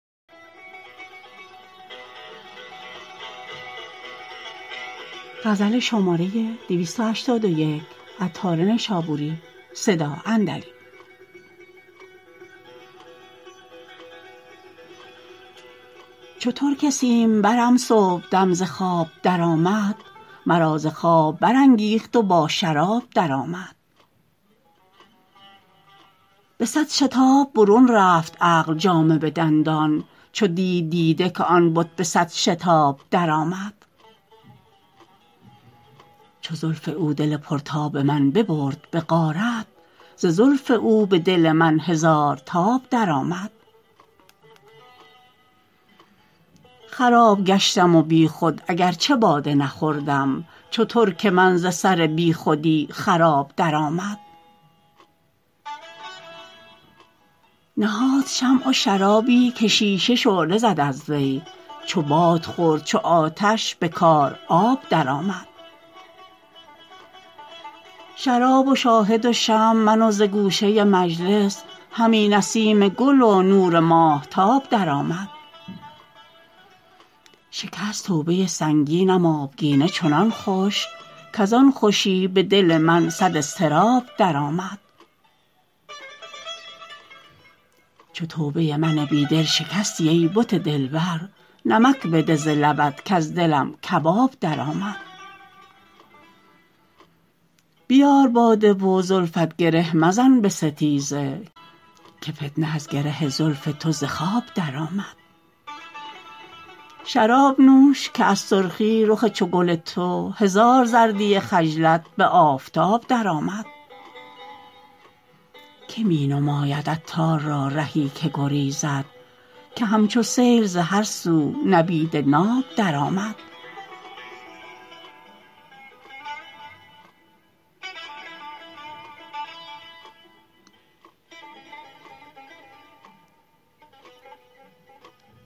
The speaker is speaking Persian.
چو ترک سیم برم صبحدم ز خواب درآمد مرا ز خواب برانگیخت و با شراب درآمد به صد شتاب برون رفت عقل جامه به دندان چو دید دیده که آن بت به صد شتاب درآمد چو زلف او دل پر تاب من ببرد به غارت ز زلف او به دل من هزار تاب درآمد خراب گشتم و بیخود اگر چه باده نخوردم چو ترک من ز سر بیخودی خراب درآمد نهاد شمع و شرابی که شیشه شعله زد از وی چو باد خورد چو آتش به کار آب درآمد شراب و شاهد و شمع و من و ز گوشه مجلس همی نسیم گل و نور ماهتاب درآمد شکست توبه سنگینم آبگینه چنان خوش کزان خوشی به دل من صد اضطراب درآمد چو توبه من بی دل شکستی ای بت دلبر نمک بده ز لبت کز دلم کباب درآمد بیار باده و زلفت گره مزن به ستیزه که فتنه از گره زلف تو ز خواب درآمد شراب نوش که از سرخی رخ چو گل تو هزار زردی خجلت به آفتاب درآمد که می نماید عطار را رهی که گریزد که همچو سیل ز هر سو نبید ناب درآمد